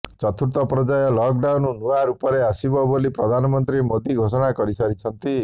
ଚତୁର୍ଥ ପର୍ଯ୍ୟାୟ ଲକଡାଉନ୍ ନୂଆ ରୂପରେ ଆସିବ ବୋଲି ପ୍ରଧାନମନ୍ତ୍ରୀ ମୋଦି ଘୋଷଣା କରିସାରିଛନ୍ତି